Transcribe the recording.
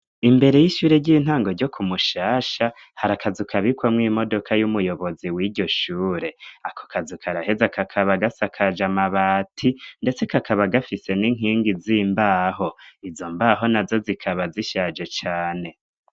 Imbere y'ishure ry'intango ryo kumushasha hari akazukabikwamwo imodoka y'umuyobozi w'iryo shure ako kazuka araheza akakaba gasa kaja mabati, ndetse kakaba gafise n'inkingi zimbaho izo mbaho na zo zikaba zishaje cane.